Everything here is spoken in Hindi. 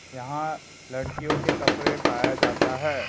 यहां लड़कियों के कपड़े पाया जाता है।